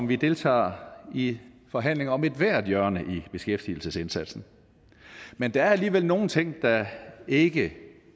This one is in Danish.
vi deltager i forhandlinger om ethvert hjørne i beskæftigelsesindsatsen men der er alligevel nogle ting der ikke